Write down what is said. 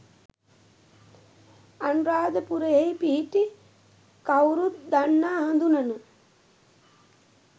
අනුරාධපුරයෙහි පිහිටි කවුරුත් දන්නා හඳුනන